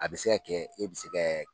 A bɛ se ka kɛ e bɛ se kɛ